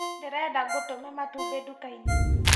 Ndĩrenda ngũtũme matumbĩ nduka-inĩ